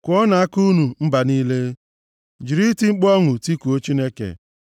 Kụọnụ aka unu, unu mba niile; jiri iti mkpu ọṅụ tikuo Chineke.